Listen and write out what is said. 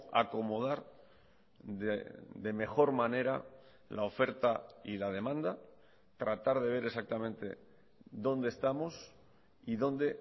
acomodar de mejor manera la oferta y la demanda tratar de ver exactamente dónde estamos y dónde